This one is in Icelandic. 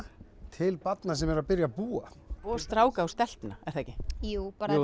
til barna sem eru að byrja að búa og stráka og stelpna jú bara